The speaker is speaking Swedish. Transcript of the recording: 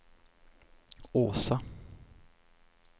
Åsa